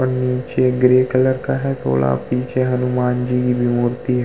और नीचे grey colour का है थोड़ा पीछे हनुमान जी की भी मूर्ति है।